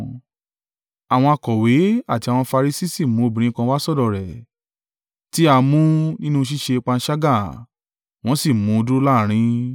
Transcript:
Àwọn akọ̀wé àti àwọn Farisi sì mú obìnrin kan wá sọ́dọ̀ rẹ̀, tí a mú nínú ṣíṣe panṣágà; wọ́n sì mú un dúró láàrín.